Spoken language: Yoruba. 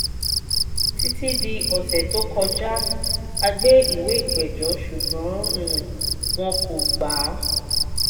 títí dì ọ̀sẹ̀ tó kọjá a gbà ìwé ìpẹ̀jọ́ ṣugbọ́n wn um kò gbà á